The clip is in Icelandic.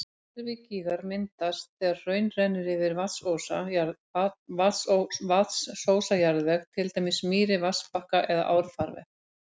Gervigígar myndast þegar hraun rennur yfir vatnsósa jarðveg, til dæmis mýri, vatnsbakka eða árfarveg.